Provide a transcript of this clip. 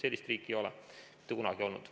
Sellist riiki ei ole mitte kunagi olnud.